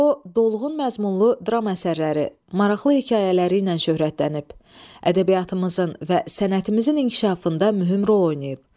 O dolğun məzmunlu dram əsərləri, maraqlı hekayələri ilə şöhrətlənib, ədəbiyyatımızın və sənətimizin inkişafında mühüm rol oynayıb.